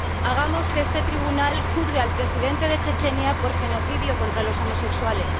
Hagamos que este tribunal juzgue al presidente de Chechenia por genocidio contra los homosexuales.